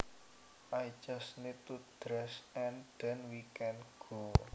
I just need to dress and then we can go